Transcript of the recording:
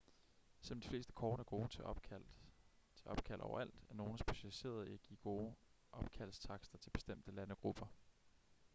selvom de fleste kort er gode til opkald overalt er nogle specialiseret i at give gode opkaldstakster til bestemte landegrupper